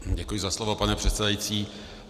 Děkuji za slovo, pane předsedající.